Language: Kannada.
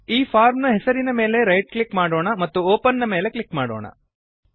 ಈ ಫಾರ್ಮ್ ಹೆಸರಿನ ಮೇಲೆ ರೈಟ್ ಕ್ಲಿಕ್ ಮಾಡೋಣ ಮತ್ತು ಒಪೆನ್ ನ ಮೇಲೆ ಕ್ಲಿಕ್ ಮಾಡೋಣ